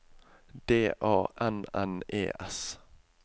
D A N N E S